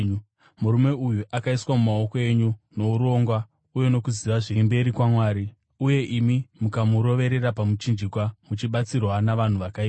Murume uyu akaiswa mumaoko enyu nourongwa uye nokuziva zviri mberi kwaMwari; uye imi, mukamuroverera pamuchinjikwa muchibatsirwa navanhu vakaipa.